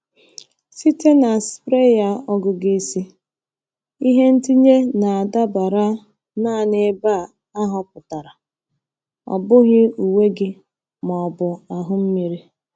Site na sprayer ọgụgụ isi, ihe ntinye na-adabara naanị ebe a họpụtara—ọ bụghị uwe gị ma ọ bụ ahụ mmiri.